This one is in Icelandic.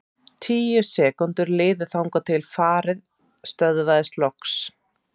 Tíu sekúndur liðu þangað til farið stöðvaðist loks.